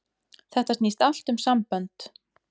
Þetta snýst allt um sambönd.